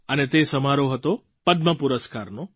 અને તે સમારોહ હતો પદ્મ પુરસ્કારનો